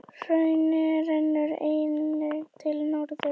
Hraun rennur einnig til norðurs.